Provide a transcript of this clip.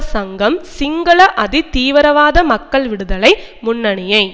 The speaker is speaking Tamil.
சங்கம் சிங்கள அதி தீவிரவாத மக்கள் விடுதலை முன்னணியை